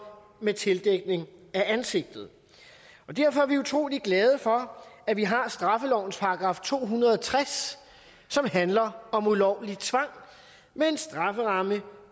med tildækning af ansigtet derfor er vi utrolig glade for at vi har straffelovens § to hundrede og tres som handler om ulovlig tvang med en strafferamme